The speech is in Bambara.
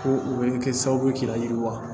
Ko u bɛ kɛ sababu ye k'i layiriwa